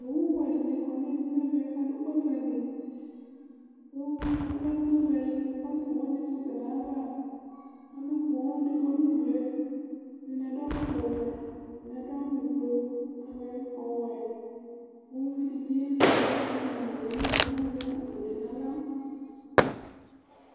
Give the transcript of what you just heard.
Ovu wɛ ɖini kɔ nu iɣilíh nu ɛvɛ, ku aɖu gbakané Ku alɛ ɛku wɛ ɖi du, ku owu wani assɛ sɛ nu aya ãvã Ãlu pooo ɖi kɔ nu udue Ɛdini aɖu ɛkɔtɔ ɔwɛ Ɛdini aɖu awu ublu, ofue, ɔwɛ Ku uvidi bi oyeli nu imlã netse nu ɛvɛ, ku azɛ akpò nu aɣla